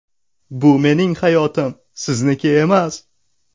Bu mening hayotim, sizniki emas!!